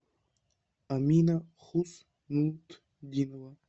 амина хуснутдинова